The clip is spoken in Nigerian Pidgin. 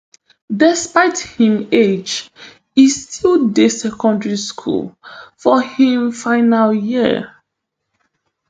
despite im age e still dey secondary school for im final year